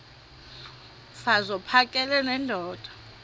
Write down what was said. mfaz uphakele nendoda